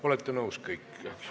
Olete kõik nõus, eks ju?